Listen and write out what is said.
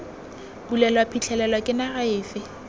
bulelwa phitlhelelo ke naga efe